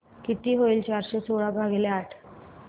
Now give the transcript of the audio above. किती होईल चारशे सोळा भागीले आठ